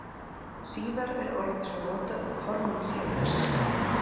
Síðar er orðið svo notað um formann félags.